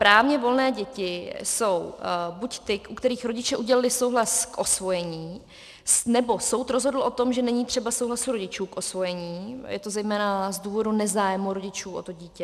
Právně volné děti jsou buď ty, u kterých rodiče udělili souhlas k osvojení nebo soud rozhodl o tom, že není třeba souhlasu rodičů k osvojení, je to zejména z důvodu nezájmu rodičů o to dítě.